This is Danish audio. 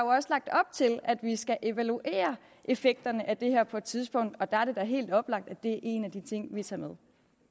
også lagt op til at vi skal evaluere effekterne af det her på et tidspunkt og der er det da helt oplagt at det er en af de ting vi tager med